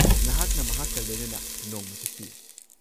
ꯅꯍꯥꯛꯅ ꯃꯍꯥꯛꯀ ꯂꯣꯏꯅꯅ ꯅꯣꯡꯃ ꯆꯠꯄꯤꯌꯨ꯫